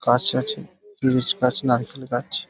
গাছ আছে খিরিস গাছ নারকেল গাছ ।